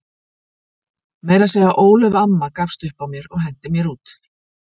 Meira að segja Ólöf amma gafst upp á mér og henti mér út.